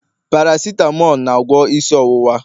paracetamol na-agwọ isi ọwụwa